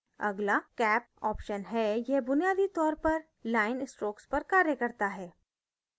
अगला cap option है यह बुनियादी तौर पर line strokes पर कार्य करता है